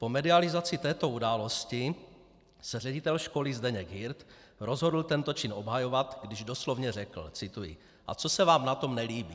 Po medializaci této události se ředitel školy Zdeněk Hirt rozhodl tento čin obhajovat, když doslovně řekl - cituji: A co se vám na tom nelíbí?